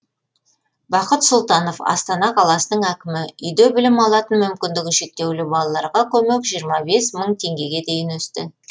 бақыт сұлтанов астана қаласының әкімі үйде білім алатын мүмкіндігі шектеулі балаларға көмек жиырма бес мың теңгеге дейін өсті